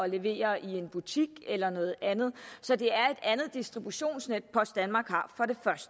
levere i en butik eller noget andet så det er et andet distributionsnet post danmark har